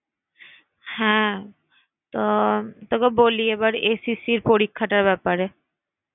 হ্যাঁ তো তোকে বলি এবার SSC পরীক্ষা টার ব্যাপারে।